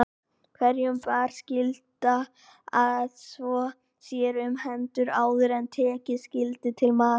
Hverjum bar skylda að þvo sér um hendur áður en tekið skyldi til matar.